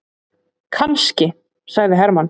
Kannski, sagði Hermann.